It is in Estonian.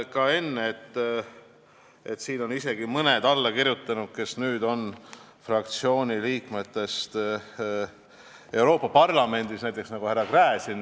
Ma vaatasin enne, et mõned allakirjutanud fraktsiooni liikmed on nüüd Euroopa Parlamendis, näiteks nagu härra Gräzin.